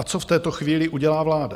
A co v této chvíli udělá vláda?